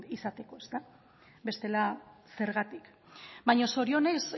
izateko bestela zergatik baina zorionez